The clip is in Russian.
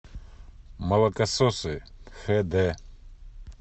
молокососы хд